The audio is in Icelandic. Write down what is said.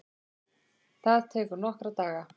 Það tekur nokkra daga.